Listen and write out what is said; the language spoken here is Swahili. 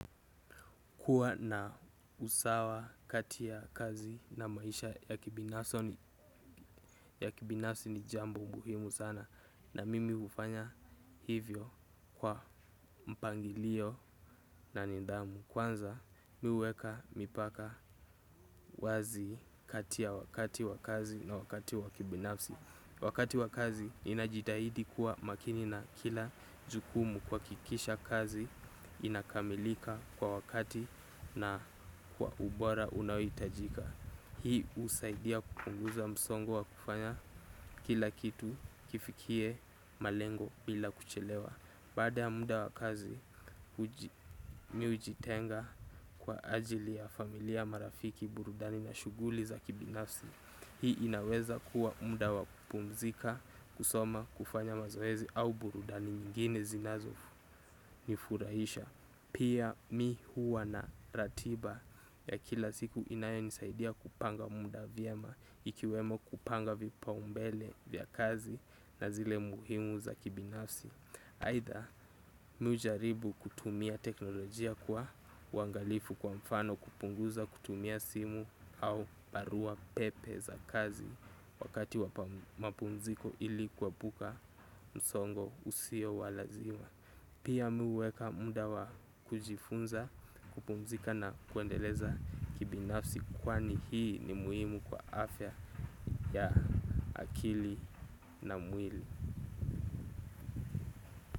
Kuwa na usawa kati ya kazi na maisha ya kibinafsi ni jambo muhimu sana na mimi hufanya hivyo kwa mpangilio na nidhamu. Kwanza mimi huweka mipaka wazi kati ya wakati wa kazi na wakati wa kibinafsi. Wakati wa kazi ninajitahidi kuwa makini na kila jukumu kuhakikisha kazi inakamilika kwa wakati na kwa ubora unaohitajika. Hii husaidia kupunguza msongo wa kufanya kila kitu kifikie malengo bila kuchelewa. Baada ya muda wa kazi mimi hujitenga kwa ajili ya familia marafiki burudani na shughuli za kibinafsi. Hii inaweza kuwa muda wa kupumzika, kusoma, kufanya mazoezi au burudani nyingine zinazonifurahisha. Pia mimi huwa na ratiba ya kila siku inayonisaidia kupanga muda vyema ikiwemo kupanga vipaumbele vya kazi na zile muhimu za kibinafsi. Aidha mimi hujaribu kutumia teknolojia kwa uangalifu kwa mfano kupunguza kutumia simu au barua pepe za kazi. Wakati wa mapumziko ili kuepuka msongo usio wa lazima. Pia mimi huweka muda wa kujifunza kupumzika na kuendeleza kibinafsi kwani hii ni muhimu kwa afya ya akili na mwili.